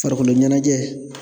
Farikolo ɲɛnajɛ